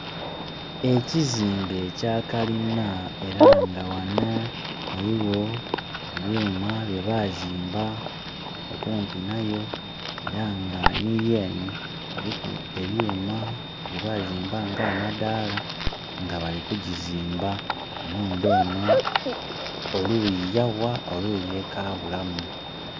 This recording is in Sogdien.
Ekizimbe ekya kalina era nga ghano ghaligho ebyuma bye bazimba okumpi nayo era nga ni yene eriku ebyuma bye bazimba nga amadaala, nga bali ku gizimba. Enhumba eno oluyi ya gha oluyi ekabulamu.